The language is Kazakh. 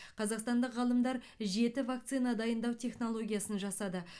қазақстандық ғалымдар жеті вакцина дайындау технологиясын жасады